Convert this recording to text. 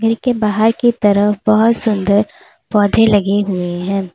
कमरे के बाहर की तरफ बहुत सुंदर पौधे लगे हुए हैं।